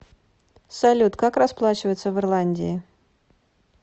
салют как расплачиваться в ирландии